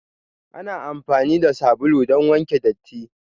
Ana amfani da sabulu don wanke datti.